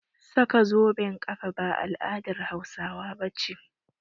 Saka zoben ƙafa ba al'adar Hausawa ba ce